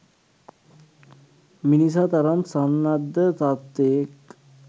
මිනිසා තරම් සන්නද්ධ සත්වයෙක්